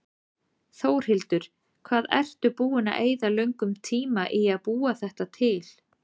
Þórhildur: Hvað ertu búinn að eyða löngum tíma í að búa þetta til?